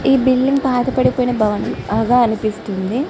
ఈ బిల్డింగ్ పాతబడిపోయిన భవనం లాగా అనిపిస్తుంది.